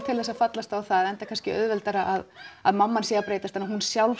að fallast á það enda kannski auðveldara að að mamman sé að breytast en hún sjálf